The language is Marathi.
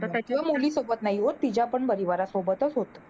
तर त्याच्या मुली सोबत नाही होत तिच्या पण परिवारासोबतच होत.